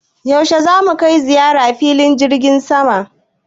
Yaushe za mu kai ziyara filin jirgin sama?